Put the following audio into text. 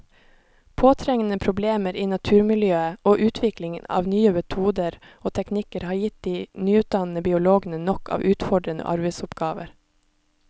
Påtrengende problemer i naturmiljøet og utvikling av nye metoder og teknikker har gitt de nyutdannede biologene nok av utfordrende arbeidsoppgaver.